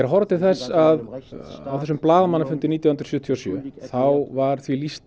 að horfa til þess að á þessum blaðamannafundi nítján hundruð sjötíu og sjö þá var því lýst